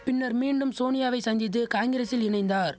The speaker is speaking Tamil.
பின்னர் மீண்டும் சோனியாவை சந்தித்து காங்கிரசில் இணைந்தார்